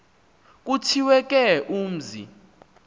kuthiwe ke umzi